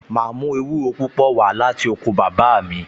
Màá mú ewúro púpò wá láti oko bàbá mi